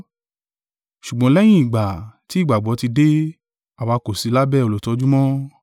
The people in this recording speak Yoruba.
Ṣùgbọ́n lẹ́yìn ìgbà tí ìgbàgbọ́ ti dé, àwa kò sí lábẹ́ olùtọ́jú mọ́.